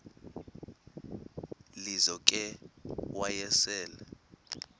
lizo ke wayesel